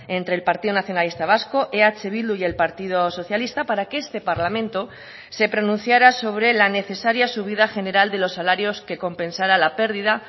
entre el partido nacionalista vasco eh bildu y el partido socialista para que este parlamento se pronunciara sobre la necesaria subida general de los salarios que compensara la pérdida